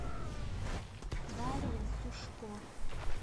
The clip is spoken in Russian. дарья сушко